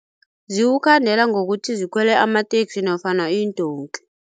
Ziwukhandela ngokuthi zikhwele amateksi nofana iindonki.